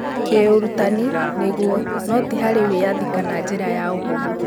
kĩurũtani, nĩguo, no ti harĩ wĩathi kana njira ya ũhũthũ